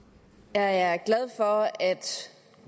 er er